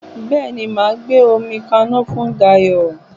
Bẹ́ẹ̀ni, màá gbé omi kaná fún Dayọ̀